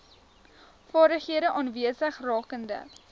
vaardighede aanwesig rakende